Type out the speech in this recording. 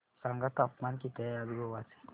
सांगा तापमान किती आहे आज गोवा चे